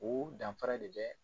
O danfara de bɛ